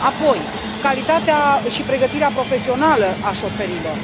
Apoi, calitatea și pregătirea profesională a șoferilor.